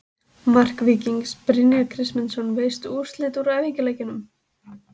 Mark Víkings: Brynjar Kristmundsson Veistu úrslit úr æfingaleikjum?